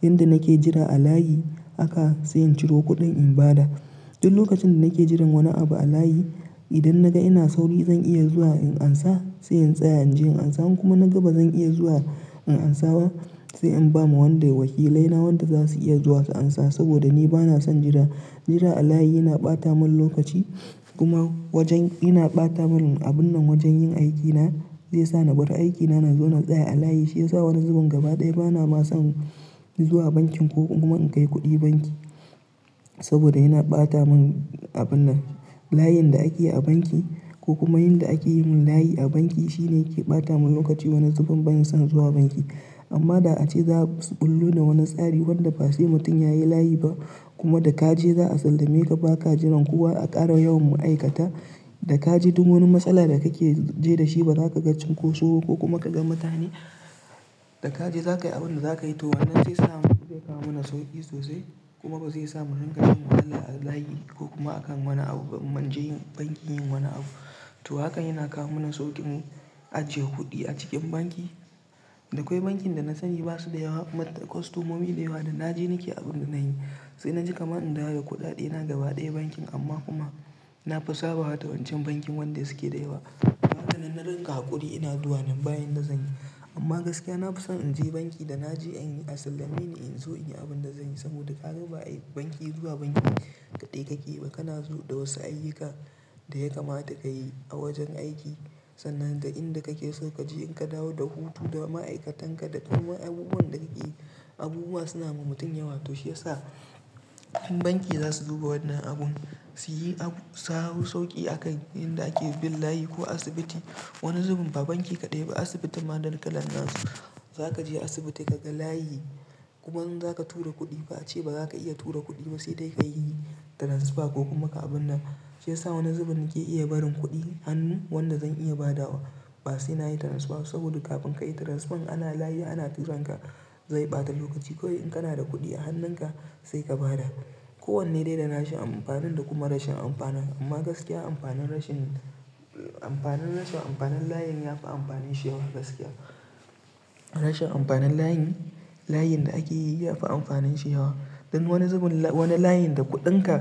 Inda nake jira a layi haka sai in ciro kuɗin in bada. Duk lokacin da nake jiran wani abu a layi idan naga ina sauri zan iya zuwa in amsa sai in tsaya inje in amsa in kuma naga bazan iya zuwa in amsa ba sai in bama wanda wakilai na wanda zasuyi iya zuwa su amsa saboda ni bana son jira. Jira a layi yana ɓata mun lokaci kuma wajen yana ɓata mun abun nan wajan yin aikina zai sa na bar aikina nazo na tsaya a layi shiyasa wani zuben gaba ɗaya bana ma son zuwa bankin ko kuma in kai kuɗi banki saboda yana ɓata mun abun nan layin da akeyi a banki ko kuma yanda akeyin layi a banki shine yake ɓata mun lokaci wani zuben ban son zuwa banki. Amma da ace za su bullo da wani tsari wanda base mutum yayi layi ba kuma da kaje za a sallameka ba ka jiran kowa a ƙara yawan ma'aikata da kaje duk wani matsala da kake ji dashi bazaka ga cin koso ba ko kuma kaga mutane da kaje zakayi abunda zakayi to wannan zai sa mun zai kawo mana sauƙi sosai kuma bazai sa mu rinƙa jin wahala a layi ko kuma akan wani abu in munje banki yin wani abu. To hakan yana kawo mana sauƙin ajiye kuɗi a cikin banki. Da kwai bankin da na sani basu da yawa kuma mat-- kwastomomi da yawa din naje nake abune sai naje kamar in dawo da kuɗaɗina gaba ɗaya bankin amma kuma na fi sabawa da wancan bankin wanda suke da yawa. Haka dai na rinƙa haƙuri ina zuwa nan bayan da zanyi amma gaskiya nafi son inje banki da naje in yi a sallami ni inzo inyi abunda zanyi saboda kaga ba banki zuwa banki kaɗai kake ba kana zo da wasu ayyuka da ya kamata ka yi a wajan aiki sannan da inda kake so kaje in ka dawo da hutu da ma'aikatanka da kuma abubuwan da kake abubuwa suna ma mutum yawa to shiyasa in banki zasu zuba wannan abun suyi abu sahu sauƙi akan inda ake bin layi ko asibiti. Wani zuben ba banki kaɗai ba asibitin ma da wani kalan nasu zakaje asibiti kaga layi kuma in zaka tura kuɗi ba ace baza ka iya tura kuɗi ba saidai kayi yi taransifa ko kuma ka abun nan shiyasa wani zuben nake iya barin kuɗin hannu wanda zan iya badawa ba sai nayi transfer ba saboda kafin kayi transfer ana layi ana tura ka zai ɓata lokaci kawai in kana da kuɗi a hannunka sai ka bada. Ko wanne dai da nashi amfanin da kuma rashin amfanin amma gaskiya amfanin rashin amfanin rasa amfanin layin yafi amfanin shi yawa gaskiya. Rashin amfanin layin layin da akeyi yafi amfanin shi yawa. Dan wani zuben wani layin da kuɗinka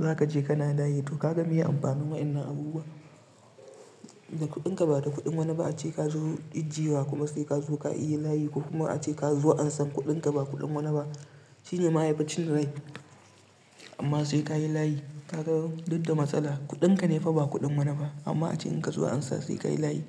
zakaje kana layi to kaga me amfanin wa'yannan abubuwa? Da kuɗinka ba da kuɗin wani ba ace ka zo ijjewa kuma sai kazo ka iya layi ko kuma ace kazo ansa kuɗinka ba kuɗin wani ba shine ma yafi cin rai amma sai kayi layi ka gan duk da matsala kuɗinka ne fa ba kuɗin wani ba amma ace in kazo ansa sai kayi layi.